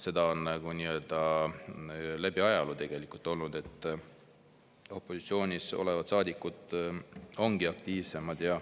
See on läbi ajaloo tegelikult nii olnud, et opositsioonis olevad saadikud ongi aktiivsemad.